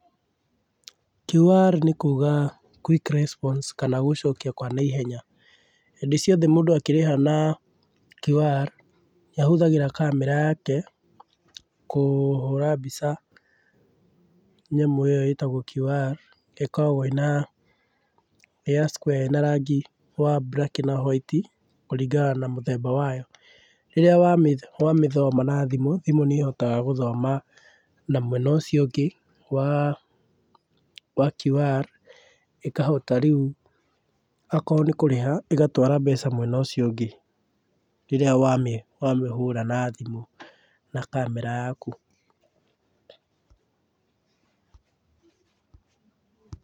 QR nĩ kuga quick response kana gũcokĩa kwa naihenya. Hĩndĩ ciothe mũndũ akĩrĩha na QR, nĩ ahũthagĩra kamera yake kũhũra mbica nyamũ ĩyo ĩtagwo QR ĩkoragwo ĩna, ĩ ya square ĩna rangi wa black na hwaiti kũringana na mũthemba wayo. Rĩrĩa wamĩ, wamĩthoma na thimũ, thimũ nĩ ĩhotaga gũthoma na mwena ũcio ũngĩ w,a wa QR ĩkahota rĩũ akorwo nĩ kũrĩha ĩgatwara mbeca mwena ũcio ũngĩ rĩrĩa wamĩ, wamĩhũra na thimũ na kamera yaku.